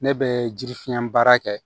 Ne bɛ jirifiɲɛ baara kɛ